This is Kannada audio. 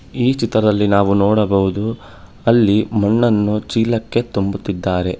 ಈ ಚಿತ್ರದಲ್ಲಿ ನಾವು ನೋಡಬಹುದು ಅಲ್ಲಿ ಮಣ್ಣನ್ನು ಚೀಲಕ್ಕೆ ತುಂಬುತಿದ್ದಾರೆ.